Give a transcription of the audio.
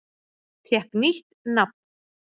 Fékk nýtt nafn